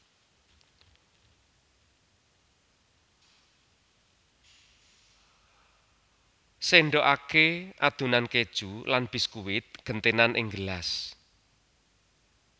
Sendhokake adonan keju lan biskuit gentenan ing gelas